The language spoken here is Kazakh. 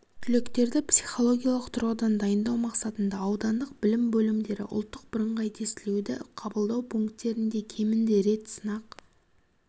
түлектерді психологиялық тұрғыдан дайындау мақсатында аудандық білім бөлімдері ұлттық бірыңғай тестілеуді қабылдау пункттерінде кемінде рет сынақ